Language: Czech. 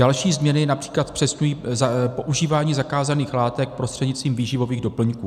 Další změny například zpřesňují používání zakázaných látek prostřednictvím výživových doplňků.